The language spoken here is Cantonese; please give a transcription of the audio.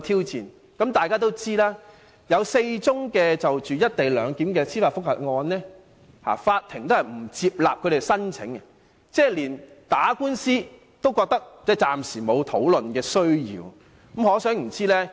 然而，大家都知道，有4宗就"一地兩檢"提出司法覆核的申請不獲法庭接納，這就是說，暫時沒有需要打官司。